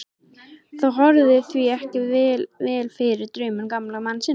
Það horfði því ekki vel fyrir draumum gamla mannsins.